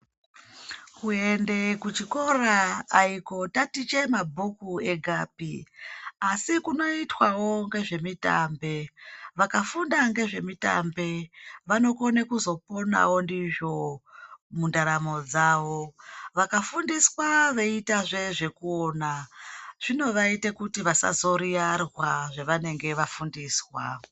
Kuende kuchikora aikotatiche mabhuku egapi asikunoitwawo ngezvemitambe vakafunda ngezvemitambe vanokona kuzoponawo ndizvo mundaramo dzawo, vakafundiswazve veiita zvekuona zvinobaite kuti vasazoyiyarwa zvavanenge vafundiswa.